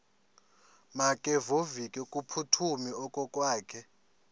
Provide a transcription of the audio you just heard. makevovike kumphuthumi okokwakhe